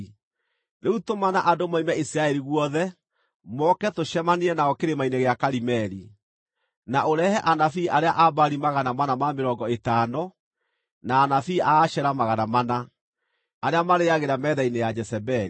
Rĩu tũmana andũ moime Isiraeli guothe, moke tũcemanie nao Kĩrĩma-inĩ gĩa Karimeli. Na ũrehe anabii arĩa a Baali magana mana ma mĩrongo ĩtano na anabii a Ashera magana mana, arĩa marĩĩagĩra metha-inĩ ya Jezebeli.”